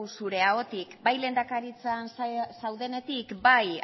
zure ahotik bai lehendakaritzan zaudenetik bai